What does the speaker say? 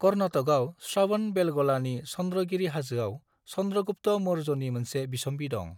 कर्नाटकआव श्रवणबेलग'लानि चंद्रगिरि हाजोआव चंद्रगुप्त मौर्यनि मोनसे बिसम्बि दं।